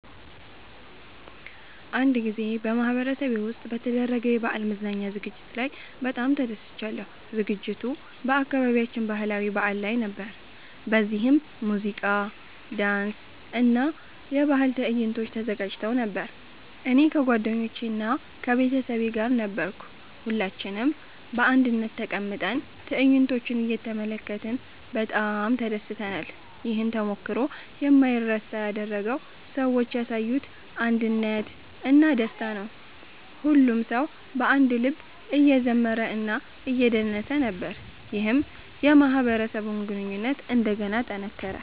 አንድ ጊዜ በማህበረሰቤ ውስጥ በተደረገ የበዓል መዝናኛ ዝግጅት ላይ በጣም ተደስቻለሁ። ዝግጅቱ በአካባቢያችን ባህላዊ በዓል ላይ ነበር፣ በዚህም ሙዚቃ፣ ዳንስ እና የባህል ትዕይንቶች ተዘጋጅተው ነበር። እኔ ከጓደኞቼ እና ከቤተሰቤ ጋር ነበርሁ። ሁላችንም በአንድነት ተቀምጠን ትዕይንቶቹን እየተመለከትን በጣም ተደስተናል። ይህን ተሞክሮ የማይረሳ ያደረገው ሰዎች ያሳዩት አንድነት እና ደስታ ነው። ሁሉም ሰው በአንድ ልብ እየዘመረ እና እየደነሰ ነበር፣ ይህም የማህበረሰብ ግንኙነትን እንደገና አጠናከረ።